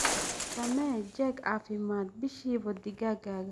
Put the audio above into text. Samee jeeg caafimaad bishiiba digaagaaga.